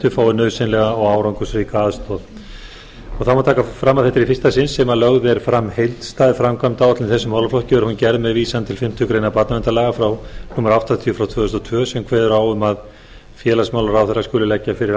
fái nauðsynlega og árangursríka aðstoð þá má taka fram að þetta er í fyrsta sinn sem lögð er fram heildstæð framkvæmdaáætlun í þessum málaflokki og er hún gerð með vísan til fimmtu grein barnaverndarlaga númer áttatíu tvö þúsund og tvö sem kveður á um að félagsmálaráðherra skuli leggja fyrir